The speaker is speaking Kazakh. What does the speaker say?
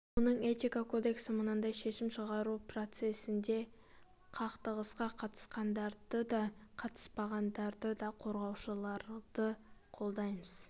оның этика кодексі мынадай шешім шығару процесінде қақтығысқа қатысқандарды да қатыспағандарды да қорғаушыларды қолдаймыз